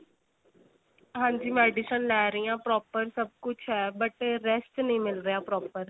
ਹਾਂਜੀ medicine ਲੈ ਰਹੀ ਆਂ proper ਸਭ ਕੁੱਝ ਏ but ਏ rest ਨੀ ਮਿਲ ਰਿਹਾ proper